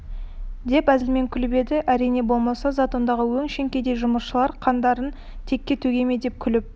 деп әзілмен күліп еді әрине болмаса затондағы өңшең кедей жұмысшылар қандарын текке төге ме деп күліп